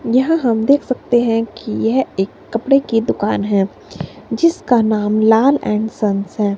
यह हम देख सकते हैं कि यह एक कपड़े की दुकान है जिसका नाम लाल एंड सन्स है।